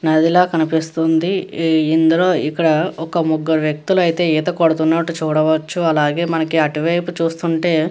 నదిలా కనిపిస్తుంది ఈ ఇందులో ఇక్కడ ఒక ముగ్గురు వ్యక్తులు అయితే ఈత కొడుతున్నట్టు చూడవచ్చు అలాగే మనకి అటువైపు చూస్తుంటే --